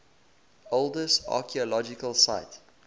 oldest archeological site